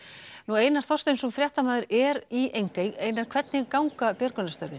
Einar Þorsteinsson er í Engey hvernig ganga björgunarstörf